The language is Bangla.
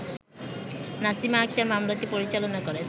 নাসিমা আকতার মামলাটি পরিচালনা করেন